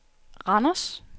Randers